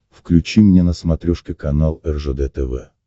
включи мне на смотрешке канал ржд тв